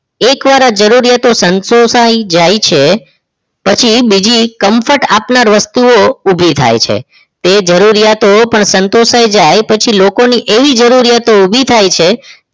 એકવાર આ જરૂરિયાત સંતોષાઈ જાય છે પછી બીજ comfort આપનાર વસ્તુઓ ઊભી થાય છે તે જરૂરિયાતો પણ સંતોષાઈ જાય પછી લોકોની એવી જરૂરિયાતો ઊભી થાય છે